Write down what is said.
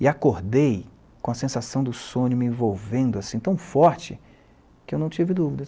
E acordei com a sensação do sonho me envolvendo assim, tão forte, que eu não tive dúvidas.